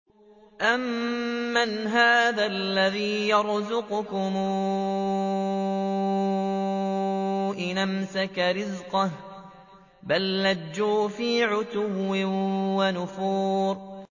أَمَّنْ هَٰذَا الَّذِي يَرْزُقُكُمْ إِنْ أَمْسَكَ رِزْقَهُ ۚ بَل لَّجُّوا فِي عُتُوٍّ وَنُفُورٍ